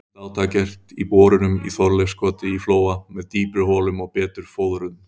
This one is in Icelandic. Nýtt átak gert í borunum í Þorleifskoti í Flóa með dýpri holum og betur fóðruðum.